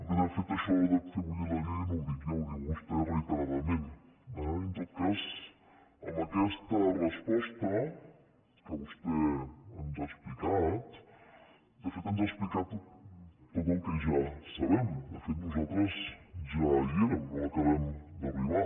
bé de fet això de fer bullir l’olla no ho dic jo ho diu vostè reiteradament eh en tot cas amb aquesta resposta que vostè ens ha explicat de fet ens ha explicat tot el que ja sabem de fet nosaltres ja hi érem no acabem d’arribar